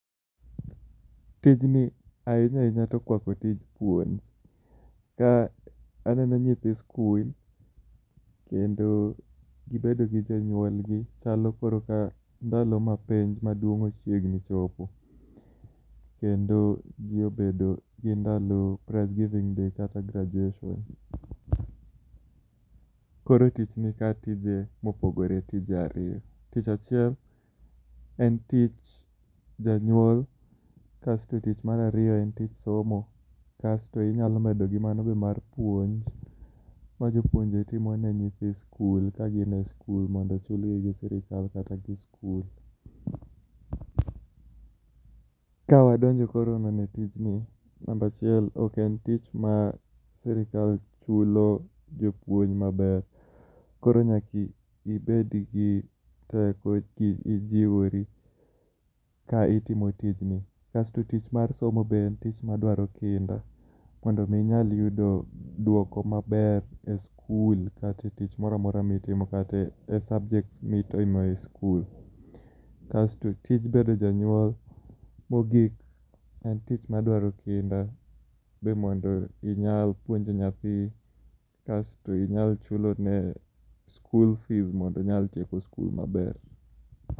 Tijni ahinya ahinya to okwako tij puonj, ka aneno nyithi skul. Kendo bedo gi jonyuolgi, chalo ka ndalo ma penj maduong' ochiegni chopo. Kendo ji bedo gi ndalo prize giving day kata graduation. Koro tich nika tije mopogore tije ariyo, tich achiel en tich janyuol kasto tich marariyo en tich somo. Kasto inyalo medo gi mano be mar puonj, ma jopuonje timo ne nyithi skul ka gin e skul mondo ochulgi gi sirikal kata gi skul. Ka wadonjo koro neno tijni, namba achiel ok en tich ma sirikal chulo jopuony maber, koro nyaki ibed gi teko ki ijiwori ka itimo tijni. Kasto tich mar somo be en tich madwaro kinda. Mondo mi inyal yudo dwoko maber e skul kate tich moramora mitimo kata e subject mi timo e skul. Kasto tij bedo janyuol, mogik en tich madwaro kinda. Be mondo inyal puonjo nyathi, kasto inyal chulo ne skul fis mondo onyal tieko skul maber.